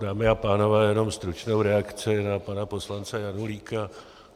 Dámy a pánové, jenom stručnou reakci na pana poslance Janulíka.